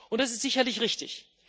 Das ist sicherlich richtig.